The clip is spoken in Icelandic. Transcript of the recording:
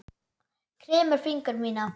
Kremur fingur mína.